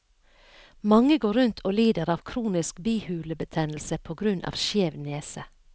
Mange går rundt og lider av kronisk bihulebetennelse på grunn av skjev nese.